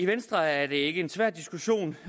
venstre er det ikke en svær diskussion